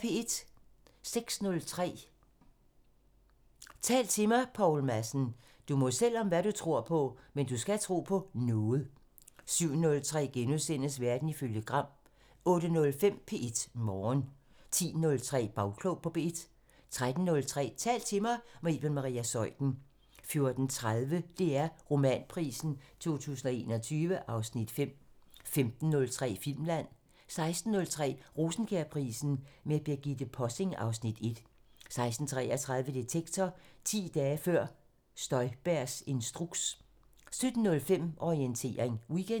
06:03: Tal til mig – Poul Madsen: "Du må selv om hvad du tror på, men du skal tro på noget!" 07:03: Verden ifølge Gram * 08:05: P1 Morgen 10:03: Bagklog på P1 13:03: Tal til mig – med Iben Maria Zeuthen 14:30: DR Romanprisen 2021 (Afs. 5) 15:03: Filmland 16:03: Rosenkjærprisen med Birgitte Possing (Afs. 1) 16:33: Detektor: 10 dage før Støjbergs instruks 17:05: Orientering Weekend